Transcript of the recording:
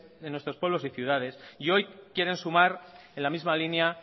en nuestros pueblos y ciudades y hoy quieren sumar en la misma línea